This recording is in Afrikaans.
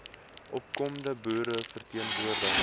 opkomende boere verteenwoordig